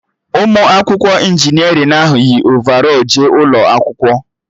Ụmụ akwụkwọ injinerịn ahụ yi ovarọl jee ụlọ akwụkwọ